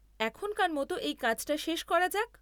এখনকার মতো এই কাজটা শেষ করা যাক।